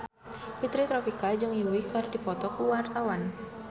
Fitri Tropika jeung Yui keur dipoto ku wartawan